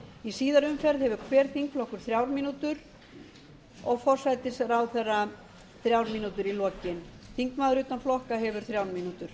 í síðari umferð hefur hver þingflokkur þrjár mínútur og forsætisráðherra þrjár mínútur í lokin þingmaður utan flokka hefur þrjár mínútur